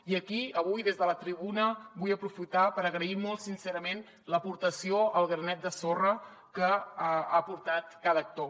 i aquí avui des de la tribuna vull aprofitar per agrair molt sincerament l’aportació el granet de sorra que ha aportat cada actor